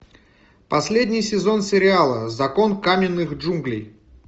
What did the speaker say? последний сезон сериала закон каменных джунглей